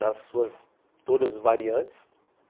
Nas suas... todas as variantes.